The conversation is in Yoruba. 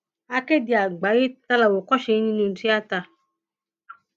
akéde àgbáyé ta làwòkọṣe yín nínú tíátá